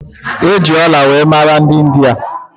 E ji ọla were mara dị India